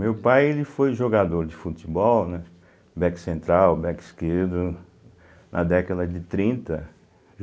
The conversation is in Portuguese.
Meu pai ele foi jogador de futebol, né, back central, back esquerdo, na década de trinta.